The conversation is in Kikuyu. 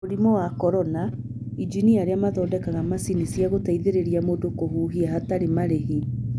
Mũrimũ wa Corona: Injinia arĩ mathondekaga macini cia gũteithĩrĩria mũndũ kũhuhia hatarĩ marĩhi